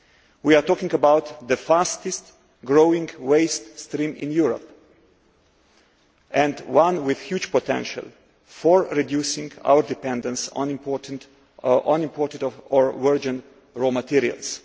We are talking about the fastest growing waste stream in Europe, and one with huge potential for reducing our dependence on imported or virgin raw materials.